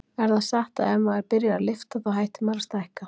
Er það satt að ef maður byrjar að lyfta þá hætti maður að stækka?